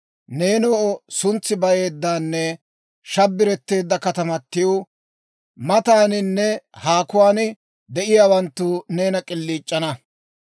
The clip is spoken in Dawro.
Neenoo, suntsi bayeeddanne shabbiretteedda katamatiw, mataaninne haakuwaan de'iyaawanttu neena k'iliic'ana.